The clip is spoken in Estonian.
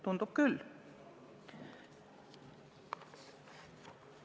Tundub küll nii.